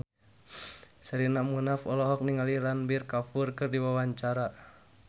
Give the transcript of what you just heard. Sherina Munaf olohok ningali Ranbir Kapoor keur diwawancara